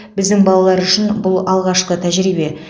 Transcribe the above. біздің балалар үшін бұл алғашқы тәжірибе